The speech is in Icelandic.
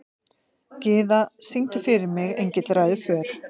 Gyða, syngdu fyrir mig „Engill ræður för“.